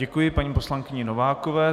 Děkuji paní poslankyni Novákové.